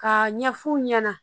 Ka ɲɛ f'u ɲɛna